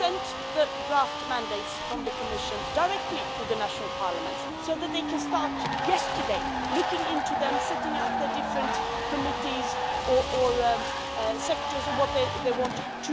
We sent the draft mandates from the Commission directly to the national parliaments so that they can start yesterday looking into them, setting up the different committees or sectors, etc.,